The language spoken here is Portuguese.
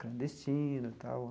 Clandestino tal.